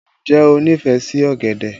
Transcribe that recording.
Ǹjẹ́ o nífẹ̀ẹ́ sí ọ̀gẹ̀dẹ̀?